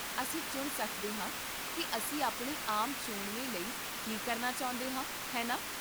ਅਸੀਂ ਚੁਣ ਸਕਦੇ ਹਾਂ ਕੀ ਅਸੀਂ ਆਪਣੇ ਆਮ ਚੋਣਵੇਂ ਲਈ ਕੀ ਕਰਨਾ ਚਾਹੁੰਦੇ ਹਾਂ, ਹੈ ਨਾ?